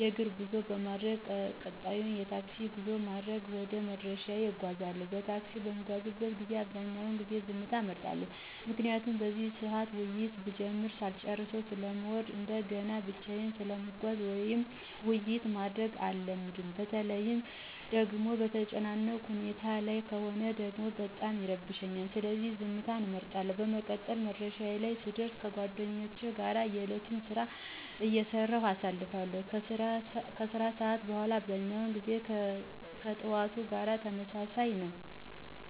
የእግር ጉዞ በማድረግ ቀጣዩን የታክሲ ጉዞ በማድረግ ወደ መዳረሻዬ እጓዛለሁ። በታክሲ በምጓዝበት ጊዜ አብዛኛውን ጊዜ ዝምታን እመርጣለሁ። ምክንያቱም በዚህ ሰዓት ውይይት ብጀምር ሳልጨረሰው ስለምወርድ እንደገናም ብቻየን ስለምጓዝ ውይይት ማድረግ አልወድም። በተለይ ደጎሞ በተጨናነቀ ሁኔታ ላይ ከሆነ ደግሞ በጣም ይረብሸኛል። ስለዚህ ዝምትን እመርጣለሁ። በመቀጠል መዳረሻዬ ላይ ስደር ከጓደኞቼ ጋር የእለቱን ስራ አይሰራሁ አሳልፋለሁ። ከስራ ሰዓት በኋላ አብዛኛው ጊዜ ከጥዋቱ ጋር ተመሳሳይ ነው።